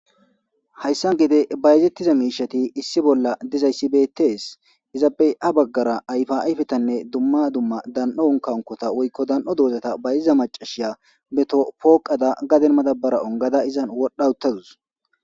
Hayssan gide bayazettiza miishati issi bolla dizayssi betees izappey ha baggara ayfa ayfetanne dumma dumma dan'on unkaunkota woykko dan'o doozata bayziza macashiya beto pooqada gaden madabara ongada izan wodha utadus.